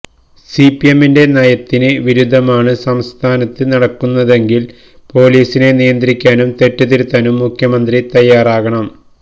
സിപിഎമ്മിന്റെ നയത്തിന് വിരുദ്ധമാണ് സംസ്ഥാനത്ത് നടക്കുന്നതെങ്കില് പോലീസിനെ നിയന്ത്രിക്കാനും തെറ്റ് തിരുത്താനും മുഖ്യമന്ത്രി തയ്യാറാകണം